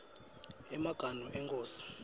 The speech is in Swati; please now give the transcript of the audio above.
emaganu enkhosi